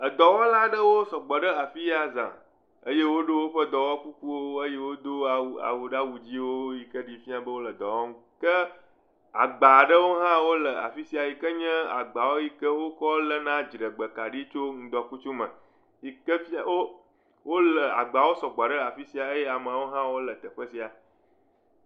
Dɔwɔla aɖewo sɔgbɔ ɖe afia zã eye woɖo woƒe dɔwɔƒe kukuwo eye wodo awu awu ɖe awu dziwo yi ke ɖi fiã be wo dɔ wɔm ke agba aɖewo hã wole afi sia yi ke nye agba yi ke wokɔ léna dziɖegbekaɖi tso ŋdɔkutsu me yi ke fia wo le agbawo sɔgbɔ ɖe afi sia eye ameawo hã wole teƒe sia.